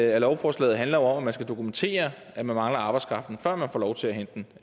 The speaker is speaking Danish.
af lovforslaget handler om at man skal dokumentere at man mangler arbejdskraften før man får lov til at hente den